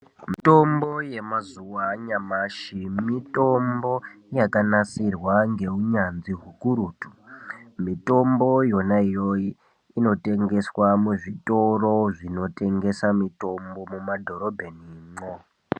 Mitombo yema zuva anyamashi mitombo yaka nasirwa nge unyanzvi hukurutu mitombo yona yoyo ino tengeswa mu zvitoro zvino tengesa mitombo muma dhorobheni mwo.